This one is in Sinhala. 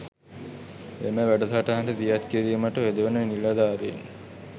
එම වැඩසටහන දියත් කිරීමට යොදවන නිලධාරීන්